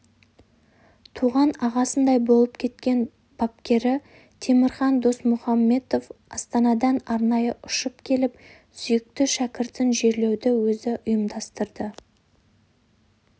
туған ағасындай олып кеткен бапкері темірхан досмұхамбетов астанадан арнайы ұшып келіп сүйікті шәкіртін жерлеуді өзі ұйымдастарды